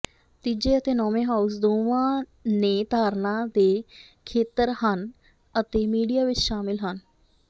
ਤੀਜੇ ਅਤੇ ਨੌਂਵੇਂ ਹਾਊਸ ਦੋਵਾਂ ਨੇ ਧਾਰਨਾ ਦੇ ਖੇਤਰ ਹਨ ਅਤੇ ਮੀਡੀਆ ਵੀ ਸ਼ਾਮਲ ਹਨ